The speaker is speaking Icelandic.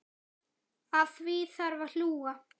Að því þarf að hlúa.